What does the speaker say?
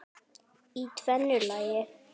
Í tvennu lagi.